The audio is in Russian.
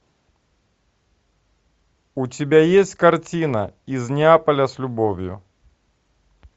у тебя есть картина из неаполя с любовью